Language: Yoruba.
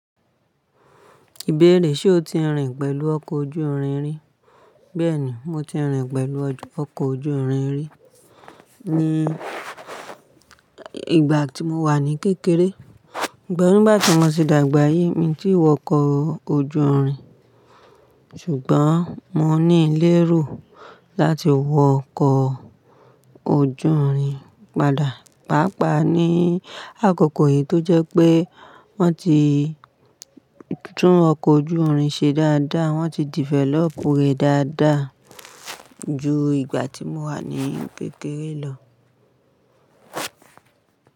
Ìbéèrè, ṣe o ti rìn pẹ̀lú ọkọ̀ ojú irin rí? Bẹ́ẹ̀ni, mo ti rìn pẹ̀lú ọkọ̀ ojú irin rí ní ìgbà tí mo wà ní kékeré. Ṣùgbọ́n ní báyi tí mo ti dàgbà yi, mi ti wọ ọkọ̀ ojú irin. Ṣùgbọ́n mo ní lérò láti wọ ọkọ̀ ojú irin padà. Pàápàá ní àkókò yìí tó jẹ́ pé wọ́n ti tún ọkọ̀ ojú irin ṣe dáadáa, wọ́n ti develop rẹ̀ dáadáa ju ìgbà tí mo wà ní kékeré lọ.